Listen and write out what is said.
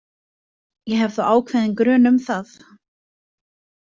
Ég hef þó ákveðinn grun um það.